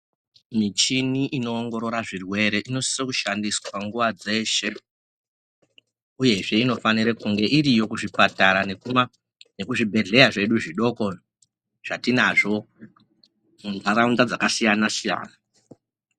Michini inoongorora zvirwere inosisa kushandiswa nguwa dzeshe uyewo inofanira kuve iri kuzvipatara nekuzvibhedhleya zvedu zvidoko zvatinazvo mundaraunda dzakasiyana siyana.